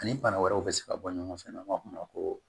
Ani bana wɛrɛw bɛ se ka bɔ ɲɔgɔn fɛ n'an b'a f'o ma ko